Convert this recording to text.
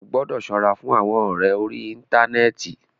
Ó gbọ́dọ̀ ṣọ́ra fún àwọn ọ̀rẹ orí íntanẹ́ẹ̀ti.